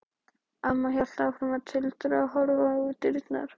Amma hélt áfram að tuldra og horfa á dyrnar.